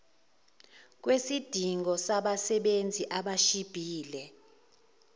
kwesidingo sabasebenzi abashibhile